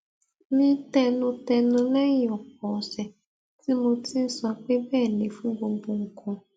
mí tẹnutẹnu léyìn òpò òsè tí mo ti ń sọ pé béè ni fún gbogbo nǹkan